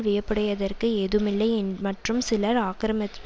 வியப்படைவதற்கு ஏதும்மில்லை மற்றும் சிலர் ஆக்கிரமிப்பிற்கு